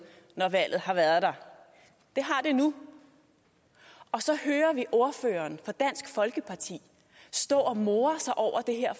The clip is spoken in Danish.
når valget har været der det har det nu så hører vi ordføreren for dansk folkeparti stå og more sig over det her